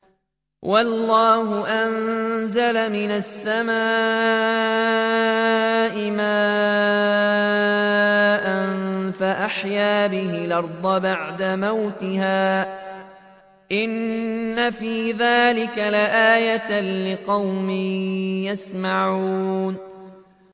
وَاللَّهُ أَنزَلَ مِنَ السَّمَاءِ مَاءً فَأَحْيَا بِهِ الْأَرْضَ بَعْدَ مَوْتِهَا ۚ إِنَّ فِي ذَٰلِكَ لَآيَةً لِّقَوْمٍ يَسْمَعُونَ